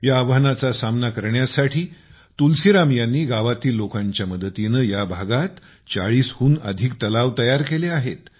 या आव्हानाचा सामना करण्यासाठी तुलसीराम यांनी गावातील लोकांच्या मदतीने या भागात 40 हून अधिक तलाव तयार केले आहेत